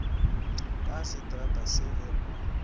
ka setrata se ge o